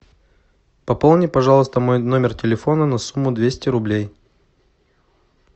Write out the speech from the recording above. пополни пожалуйста мой номер телефона на сумму двести рублей